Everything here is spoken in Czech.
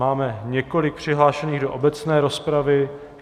Máme několik přihlášených do obecné rozpravy.